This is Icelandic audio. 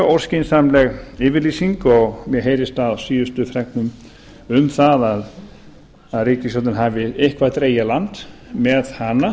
óskynsamleg yfirlýsing og mér heyrist á síðustu fregnum um það að ríkisstjórnin hafi eitthvað dregið í land með hana